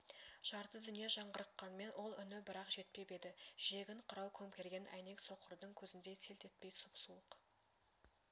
жарты дүние жаңғырыққанмен ол үні бірақ жетпеп еді жиегін қырау көмкерген әйнек соқырдың көзіндей селт етпей сұп-суық